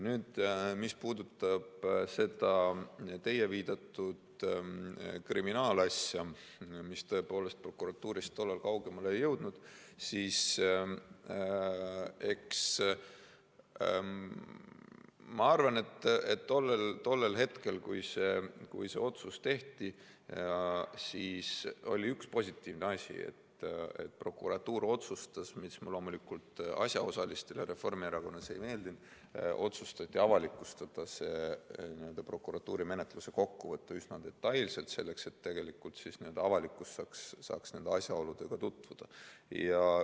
Mis puudutab seda teie viidatud kriminaalasja, mis tõepoolest prokuratuurist tollal kaugemale ei jõudnud, siis ma arvan, et tollel hetkel, kui see otsus tehti, oli üks positiivne asi: prokuratuur otsustas – mis loomulikult asjaosalistele Reformierakonnas ei meeldinud – avalikustada prokuratuuri menetluse kokkuvõtte üsna detailselt, selleks et avalikkus saaks nende asjaoludega tutvuda.